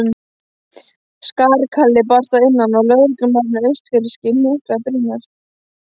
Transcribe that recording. Skarkali barst að innan og lögreglumaðurinn austfirski hnyklaði brýnnar.